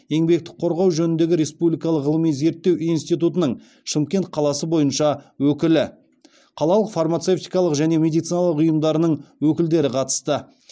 еңбекті қорғау жөніндегі республикалық ғылыми зерттеу институтының шымкент қаласы бойынша өкілі қалалық фармацевтикалық және медициналық ұйымдарының өкілдері қатысты